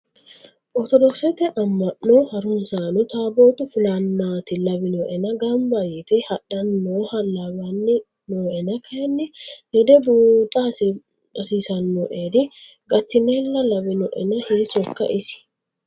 Orthodokkisete ama'no harunsano tabotu fulanati lawinoenna gamba yite hadhani nooha lawani nooenna kayinni lede buuxa hasiisanoeri gatinle lawinoenna hiisokka isi.